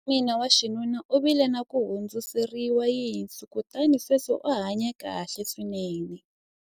kokwana wa mina wa xinuna u vile na ku hundziseriwa yinsu kutani sweswi u hanye kahle swinene